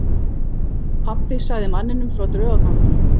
Pabbi sagði manninum frá draugaganginum.